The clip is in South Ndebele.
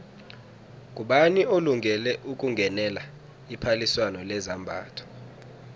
ngubani olungele ukungenela iphaliswano lezambatho